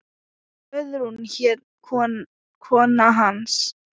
Guðrún hét kona hans.